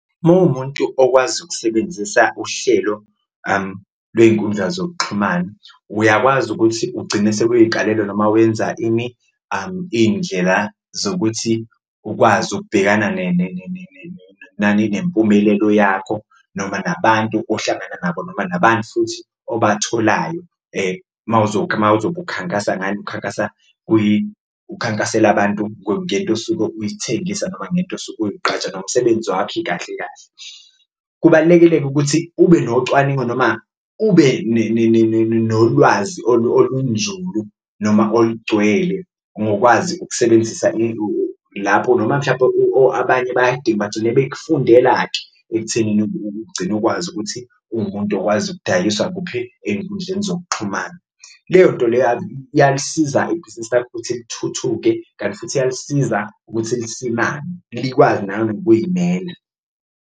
Uma uwumuntu okwazi ukusebenzisa uhlelo lwey'nkundla zokuxhumana uyakwazi ukuthi ugcine sewuyikalela noma wenza ini? Iy'ndlela zokuthi ukwazi ukubhekana nani? Nempumelelo yakho noma nabantu ohlangana nabo noma nabantu futhi obatholayo uma uzobe ukhankasa ngani? Ukukhankasa ukhankasela abantu ngento osuke uyithengisa noma ngento osuke ukuyiqgaja nomsebenzi wakho ikahle kahle. Kubalulekile-ke ukuthi ube nocwaningo noma ube nolwazi olunzulu noma olugcwele ngokwazi ukusebenzisa lapho, noma mhlawumbe abanye bagcine befundela-ke ekuthenini ugcine ukwazi ukuthi uwumuntu okwazi ukudayiswa kuphi? Enkundleni zokuxhumana. Leyonto leyo iyalisiza ibhizinisi lakho ukuthi lithuthuke kanti futhi iyalisiza nokuthi lisimame likwazi nanokuyimela.